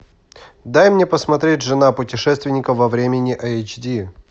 дай мне посмотреть жена путешественника во времени эйч ди